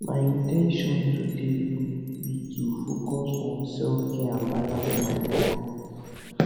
my in ten tion today be to focus on selfcare and balance my work